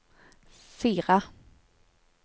Sira